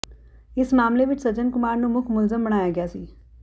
ਇਸ ਮਾਮਲੇ ਵਿਚ ਸੱਜਣ ਕੁਮਾਰ ਨੂੰ ਮੁੱਖ ਮੁਲਜ਼ਮ ਬਣਾਇਆ ਗਿਆ ਸੀ